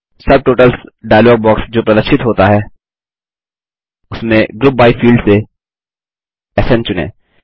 subtotals dialog box जो प्रदर्शित होता है उसमें ग्रुप बाय फील्ड से स्न चुनें